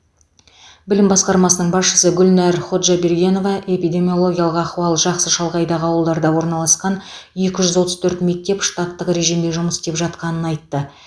білім басқармасының басшысы гүлнәр ходжабергенова эпидемиологиялық ахуал жақсы шалғайдағы ауылдарда орналасқан екі жүз отыз төрт мектеп штаттық режимде жұмыс істеп жатқанын айтты